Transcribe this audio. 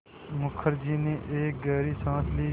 मुखर्जी ने एक गहरी साँस ली